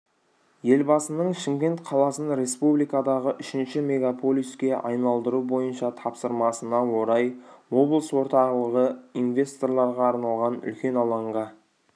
елбасының шымкент қаласын республикадағы үшінші мегаполиске айналдыру бойынша тапсырмасына орай облыс орталығы инвесторларға арналған үлкен алаңға